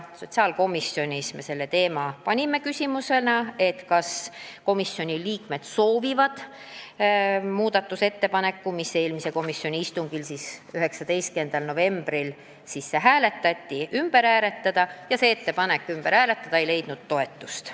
Küsisime komisjoni liikmetelt, kas nad soovivad muudatusettepaneku, mis eelmisel komisjoni istungil, 19. novembril sisse hääletati, üle vaadata, aga uuesti hääletamise ettepanekut ei toetatud.